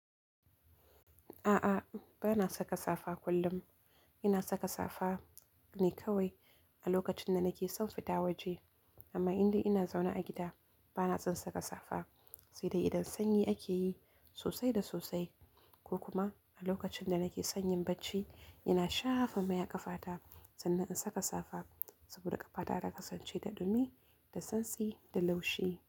A'a, ba na saka safa kullum. Ina saka safa ne kawai a lokacin da nake so fita waje. Amma inda ina zaune a gida, ba na san saka safa. Sai dai idan sanyi ake yi sosai da sosai ko kuma a lokacin da nake sanyin bacci, ina shafa mai a ƙafata sannan in saka safa. Saboda ƙafata ta ka sance da ɗumi, da santsi da laushi.